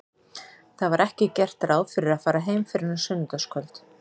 Það var ekki gert ráð fyrir að fara heim fyrr en á sunnudagskvöld.